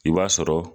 I b'a sɔrɔ